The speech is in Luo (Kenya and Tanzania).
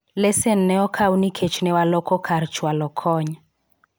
lesen ne okaw nikech ne waloko kar chwalo kony